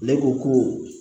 Ne ko ko